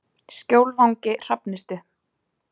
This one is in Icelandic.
Skjólvangi Hrafnistu